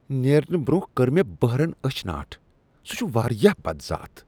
نیرنہٕ برۄنہہ کٔر بہرن مےٚ أچھ ناٹ۔ سہ چھ واریاہ بدذات۔